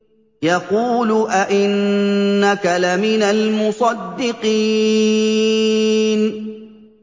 يَقُولُ أَإِنَّكَ لَمِنَ الْمُصَدِّقِينَ